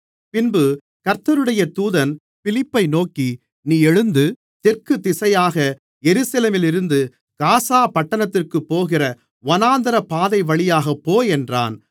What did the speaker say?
பின்பு கர்த்தருடைய தூதன் பிலிப்பை நோக்கி நீ எழுந்து தெற்கு திசையாக எருசலேமிலிருந்து காசா பட்டணத்திற்குப் போகிற வனாந்திரப்பாதைவழியாகப் போ என்றான்